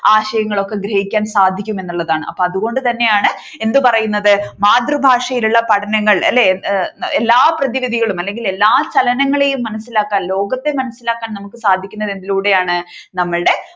ആശയങ്ങളൊക്കെ ഗ്രഹിക്കാൻ സാധിക്കുമെന്നുള്ളതാണ് അപ്പോ അതുകൊണ്ടു തന്നെയാണ് എന്ത് പറയുന്നത് മാതൃഭാഷയിലുള്ള പഠനങ്ങൾ അല്ലെ എല്ലാ പ്രതിവിധികളും അല്ലെങ്കിൽ എല്ലാ ചലനങ്ങളെയും മനസിലാക്കാൻ ലോകത്തെ മനസിലാക്കാൻ നമുക്ക് സാധിക്കുന്നത് എന്തിലൂടെയാണ് നമ്മളുടെ